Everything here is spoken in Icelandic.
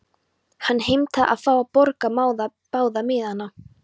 Hann heimtaði að fá að borga báða miðana.